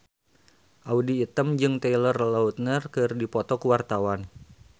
Audy Item jeung Taylor Lautner keur dipoto ku wartawan